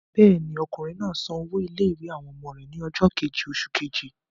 Bẹ́ẹ̀ ni, ọkùnrin náà san owó ilé-ìwé àwọn ọmọ rẹ̀ ní ọjọ́ kejì oṣù keje.